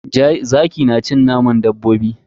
Zaki na cin naman dabbobi ne.